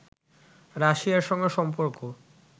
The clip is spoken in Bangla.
রাশিয়ার সঙ্গে সম্পর্ক